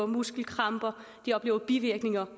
muskelkramper bivirkninger